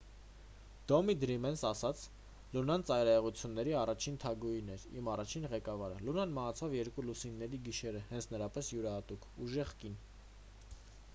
թոմի դրիմերն ասաց լունան ծայրահեղությունների առաջին թագուհին էր իմ առաջին ղեկավարը լունան մահացավ երկու լուսինների գիշերը հենց նրա պես յուրահատուկ ուժեղ կին